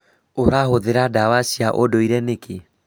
Ūrahũthĩra ndawa cia ũndũire nĩkĩ?